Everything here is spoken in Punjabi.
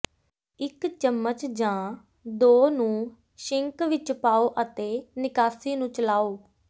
ਇਕ ਚਮਚ ਜਾਂ ਦੋ ਨੂੰ ਸਿੰਕ ਵਿਚ ਪਾਓ ਅਤੇ ਨਿਕਾਸੀ ਨੂੰ ਚਲਾਓ